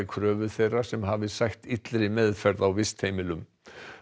kröfu þeirra sem hafa sætt illri meðferð á vistheimilum